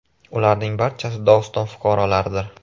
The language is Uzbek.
Ularning barchasi Dog‘iston fuqarolaridir.